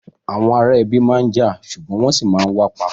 Àwọn ará ẹbi máa n já ṣugbọn wọn sì ma wa papọ.